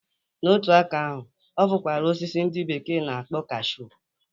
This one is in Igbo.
N'otu aka ahụ, ọ fụkwara osisi ndị bekee na-akpo kaashu.